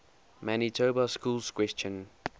manitoba schools question